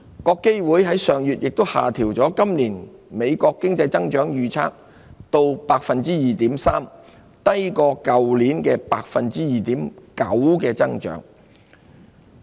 國基會上月亦下調美國今年經濟增長預測至 2.3%， 低於去年的 2.9% 增長。